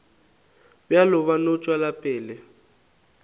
bjalo ba no tšwela pele